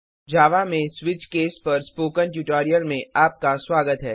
जावा में switch case के spoken tutorial में आपका स्वागत है